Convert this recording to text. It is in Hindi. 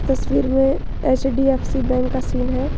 तस्वीर में एच_डी_एफ_सी बैंक का सीन है।